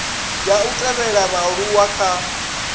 ya u thivhela vhaaluwa kha